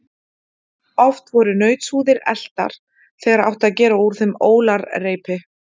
Oft voru nautshúðir eltar, þegar átti að gera úr þeim ólarreipi.